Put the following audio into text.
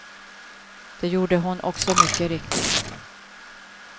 Det gjorde hon också mycket riktigt.